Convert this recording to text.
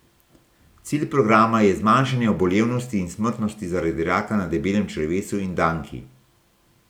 Cilj programa je zmanjšanje obolevnosti in smrtnosti zaradi raka na debelem črevesu in danki.